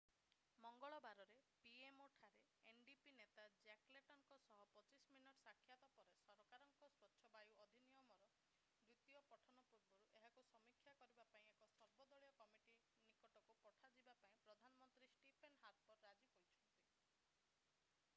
ମଙ୍ଗଳବାରରେ pmo ଠାରେ ndp ନେତା Jack ଲେଟନ୍‌ଙ୍କ ସହ 25 ମିନିଟର ସାକ୍ଷାତ ପରେ ସରକାରଙ୍କର 'ସ୍ୱଚ୍ଛ ବାୟୁ ଅଧିନିୟମ'ର ଦ୍ୱିତୀୟ ପଠନ ପୂର୍ବରୁ ଏହାକୁ ସମୀକ୍ଷା କରିବା ପାଇଁ ଏକ ସର୍ବଦଳୀୟ କମିଟୀ ନିକଟକୁ ପଠାଇବା ପାଇଁ ପ୍ରଧାନମନ୍ତ୍ରୀ ଷ୍ଟିଫେନ୍ ହାର୍ପର୍ ରାଜି ହୋଇଛନ୍ତି।